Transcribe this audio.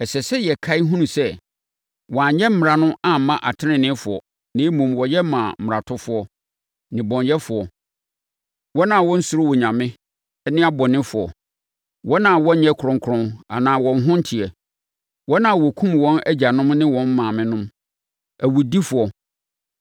Ɛsɛ sɛ yɛkae hunu sɛ, wɔanyɛ mmara no amma ateneneefoɔ na mmom, wɔyɛ maa mmaratofoɔ, nnebɔneyɛfoɔ, wɔn a wɔnsuro Onyame ne abɔnefoɔ, wɔn a wɔnyɛ kronkron anaa wɔn ho nteɛ, wɔn a wɔkum wɔn agyanom ne wɔn maamenom, awudifoɔ,